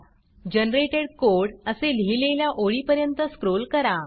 generated code असे लिहिलेल्या ओळीपर्यंत स्क्रॉल करा